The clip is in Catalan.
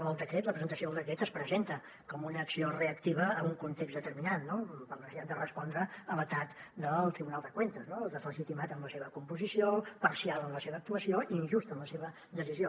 el decret la presentació del decret es presenta com una acció reactiva en un context determinat no per la necessitat de respondre a l’atac del tribunal de cuentas deslegitimat en la seva composició parcial en la seva actuació injust en la seva decisió